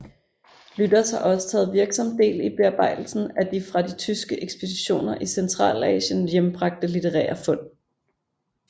Lüders har også taget virksom del i bearbejdelsen af de fra de tyske ekspeditioner i Centralasien hjembragte litterære fund